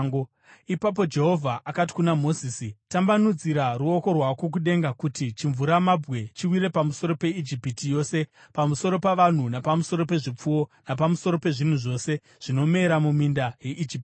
Ipapo Jehovha akati kuna Mozisi, “Tambanudzira ruoko rwako kudenga kuti chimvuramabwe chiwire pamusoro peIjipiti yose, pamusoro pavanhu napamusoro pezvipfuwo napamusoro pezvinhu zvose zvinomera muminda yeIjipiti.”